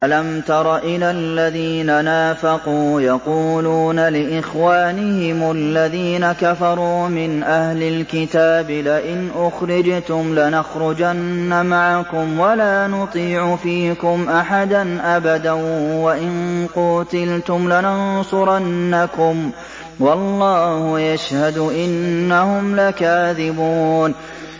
۞ أَلَمْ تَرَ إِلَى الَّذِينَ نَافَقُوا يَقُولُونَ لِإِخْوَانِهِمُ الَّذِينَ كَفَرُوا مِنْ أَهْلِ الْكِتَابِ لَئِنْ أُخْرِجْتُمْ لَنَخْرُجَنَّ مَعَكُمْ وَلَا نُطِيعُ فِيكُمْ أَحَدًا أَبَدًا وَإِن قُوتِلْتُمْ لَنَنصُرَنَّكُمْ وَاللَّهُ يَشْهَدُ إِنَّهُمْ لَكَاذِبُونَ